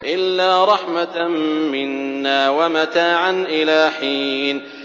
إِلَّا رَحْمَةً مِّنَّا وَمَتَاعًا إِلَىٰ حِينٍ